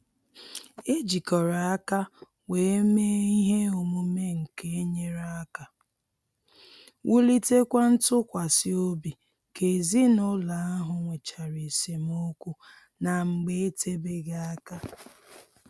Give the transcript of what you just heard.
E jikọrọ aka wee mee ihe omume nke nyere aka wulitekwa ntụkwasị obi ka ezinụlọ ahụ nwechara esemokwu na mgbe etebeghị aka